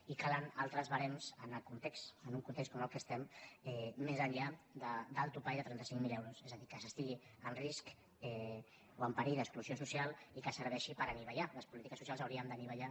i calen altres barems en un context com aquest en què estem més enllà del topall de trenta cinc mil euros és a dir que s’estigui en risc o en perill d’exclusió social i que serveixi per anivellar les polítiques socials haurien d’anivellar